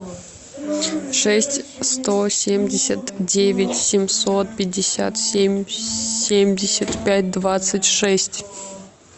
шесть сто семьдесят девять семьсот пятьдесят семь семьдесят пять двадцать шесть